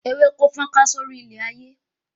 Ewéko fọ́nká sórí ilẹ̀ ayé